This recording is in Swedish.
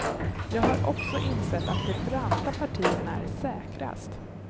Jag har också insett att de branta partierna är säkrast.